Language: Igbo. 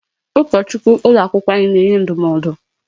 Ụkọchukwu ụlọ akwụkwọ na-enye ndụmọdụ.